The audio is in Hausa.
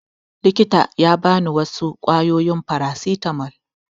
Likitan ya ba ni wasu ƙwayoyin farasitamol